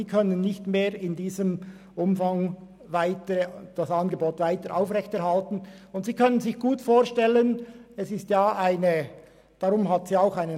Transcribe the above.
Diese Schule könnte somit ihr Angebot nicht mehr im selben Umfang aufrechterhalten.